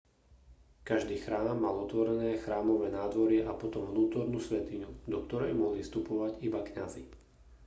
každý chrám mal otvorené chrámové nádvorie a potom vnútornú svätyňu do ktorej mohli vstupovať iba kňazi